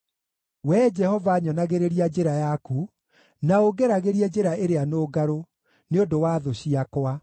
Wee Jehova nyonagĩrĩria njĩra yaku, na ũngeragĩrie njĩra ĩrĩa nũngarũ, nĩ ũndũ wa thũ ciakwa.